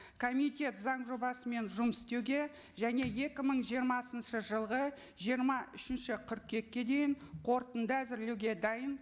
комитет заң жобасымен жұмыс істеуге және екі мың жиырмасыншы жылғы жиырма үшінші қыркүйекке дейін қорытынды әзірлеуге дайын